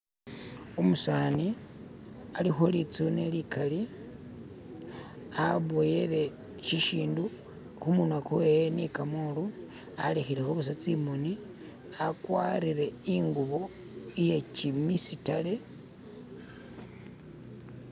Umusani alikho litsune likali aboyele shishindu khumunywa kwewe ni kamolu alekhele kho busa tsi'moni akwarire i'ngubo iye kimisitare